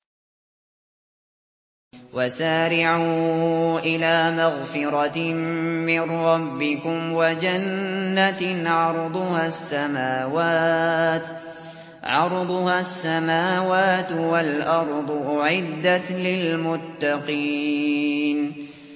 ۞ وَسَارِعُوا إِلَىٰ مَغْفِرَةٍ مِّن رَّبِّكُمْ وَجَنَّةٍ عَرْضُهَا السَّمَاوَاتُ وَالْأَرْضُ أُعِدَّتْ لِلْمُتَّقِينَ